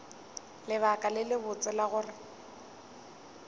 lebaka le lebotse la gore